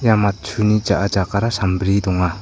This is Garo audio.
ia matchuni ja·a jakara sambri donga.